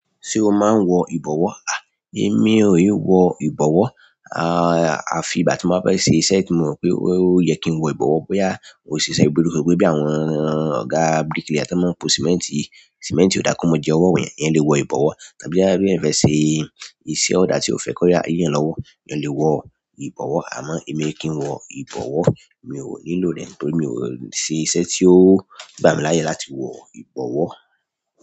Ṣé o máa ń wọ ìbọ̀wọ́? Ni èmi o e wọ ìbọ̀wọ́. Àfi ìgbà tí mo bá fẹ́ ṣe iṣẹ́ tí mo mọ̀ pé ó yẹ kí n wọ ìbọ̀wọ́, bóyá òṣìṣẹ́ ìbùdókọ̀, pé bí àwọn ọ̀gá bíríkìlà tó máa ń po símẹ́ńtì, símẹ́ńtì ò dákú mọ́ jẹ ọwọ́ èèyàn, èèyàn lè wọ ìbọ̀wọ́. Àbí bóyá èèyàn fẹ ṣe iṣẹ́ òdà, ti èèyàn o fe kí òdà yi èèyàn lọwọ, èèyàn lè wọ ibọwọ. Àmọ́ èmi kí o wọ ìbọ̀wọ́, mi ò nílò rẹ̀ torí mi ò ṣe iṣẹ́ tí ó gbà mí láyè láti wọ ìbọ̀wọ́.